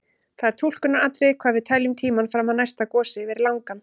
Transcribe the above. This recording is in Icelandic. Það er túlkunaratriði hvað við teljum tímann fram að næsta gosi vera langan.